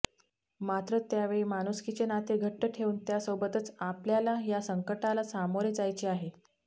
मात्र त्यावेळी माणुसकीचे नाते घट्ट ठेवून सोबतच आपल्याला या संकटाला सामोरे जायचे आहे